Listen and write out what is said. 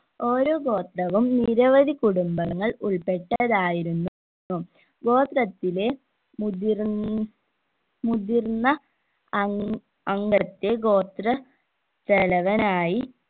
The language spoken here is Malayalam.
ഓരോ ഗോത്രവും നിരവധി കുടുംബങ്ങൾ ഉൾപ്പെട്ടതായിരുന്നു ഗോത്രത്തിലെ മുതിർന്ന് മുതിർന്ന അങ് അംഗത്തെ ഗോത്ര തലവനായി